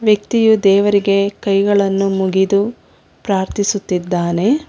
ವ್ಯಕ್ತಿಯು ದೇವರಿಗೆ ಕೈಗಳನ್ನು ಮುಗಿದು ಪ್ರಾರ್ಥಿಸುತ್ತಿದ್ದಾನೆ.